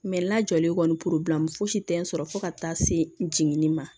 lajɔlen kɔni fosi tɛ n sɔrɔ fo ka taa se jiginni ma